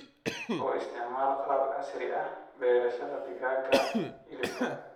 U isticmaal qalab casri ah beerashada digaaga hilibka.